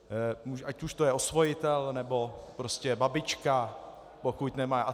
Ať už to je osvojitel, nebo prostě babička, pokud nemá atd.